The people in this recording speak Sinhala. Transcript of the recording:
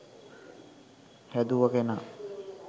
හැදුව කෙනා.